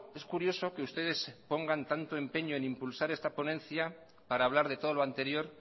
es curioso que ustedes pongan tanto empeño en impulsar esta ponencia para hablar de todo lo anterior